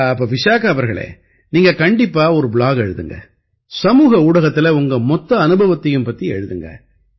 அப்ப விசாகா அவர்களே நீங்க கண்டிப்பா ஒரு ப்ளாக் எழுதுங்க சமூக ஊடகத்தில உங்க மொத்த அனுபவத்தையும் பத்தி எழுதுங்க